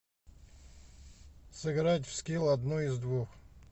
сыграть в скилл одно из двух